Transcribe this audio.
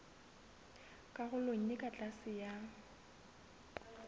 karolong e ka tlase ya